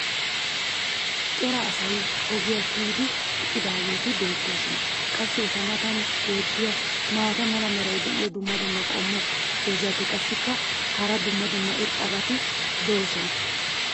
cora asay ogiya kiyyidi eqqidaageeti beetoosona. qassi eta matan beetiya maata mala meray diyo dumma dumma qommo dozzati qassikka hara dumma dumma irxxabati doosona.